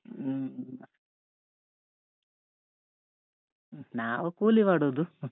ಹ ನಾವು ಕೂಲಿ ಮಾಡುದು.